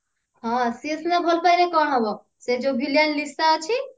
ହଁ ସେ ସିନା ଭଲ ପାଇଲେ କଣ ହବ ସେ ଯଉ villain ଲିସା ଅଛି